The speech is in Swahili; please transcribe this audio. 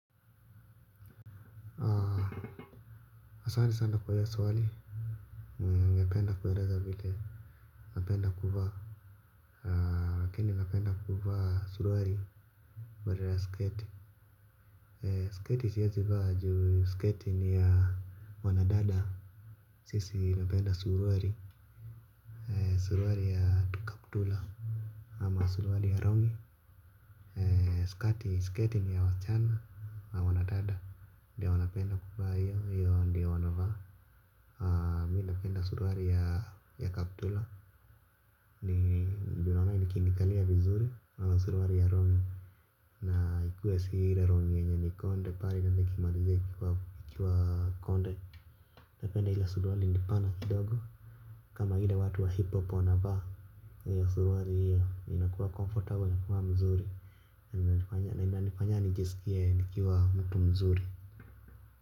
Asante sana kwa hiyo swali ningependa kueleza vile napenda kuvaa. Lakini napenda kuwa suruali badala ya sketi. Sketi siwezi vaa juu sketi ni ya wanadada. Sisi napenda suruali. Suruali ya kaptula ama suruali ya rongi. Skati sketi ni ya wasichana na wanadada. Ndio wanapenda kuvaa hiyo ndiyo wanavaa. Haa mi napenda suruali ya kaptula ndio naona ikinikalia vizuri ama suruali ya rongi. Na ikuwe si ile rongi yenye ni konde pale ikimalizia ikiwa konde napenda ile suruali ni pana kidogo. Kama ile watu wa hip-hop wanavaa hiyo suruali hiyo inakuwa comfortable inakuwa mzuri. Na inanifanya nijisikie nikiwa mtu mzuri.